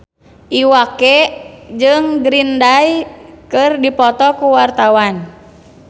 Iwa K jeung Green Day keur dipoto ku wartawan